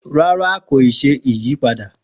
Ràrà, kóyì sẹ u-tọn.